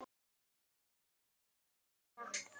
Takk fyrir mig og mína.